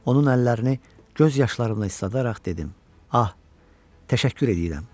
Onun əllərini göz yaşlarımla isladaraq dedim: Ah, təşəkkür eləyirəm.